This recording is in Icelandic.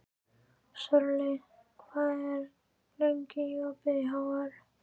Sörli, hvað er lengi opið í HR?